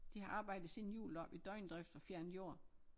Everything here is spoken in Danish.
De har arbejdet siden jul deroppe i døgndrift og fjernet jord